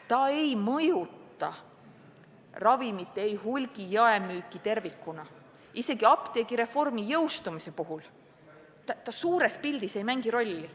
See ei mõjuta ravimite ei hulgi- ega jaemüüki tervikuna, isegi apteegireformi jõustumise puhul see suures pildis ei mängi rolli.